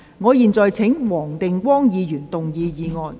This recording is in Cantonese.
我現在請黃定光議員動議議案。